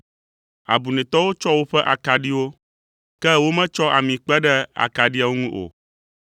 Abunɛtɔwo tsɔ woƒe akaɖiwo, ke wometsɔ ami kpe ɖe akaɖiawo ŋu o.